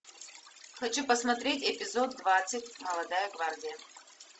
хочу посмотреть эпизод двадцать молодая гвардия